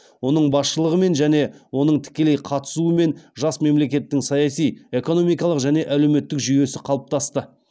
оның басшылығымен және оның тікелей қатысуымен жас мемлекеттің саяси экономикалық және әлеуметтік жүйесі қалыптасты